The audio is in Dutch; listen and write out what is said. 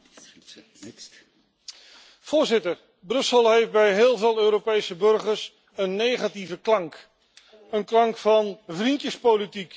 Voorzitter, Brussel heeft bij heel veel Europese burgers een negatieve klank, een klank van vriendjespolitiek en goed voor jezelf zorgen.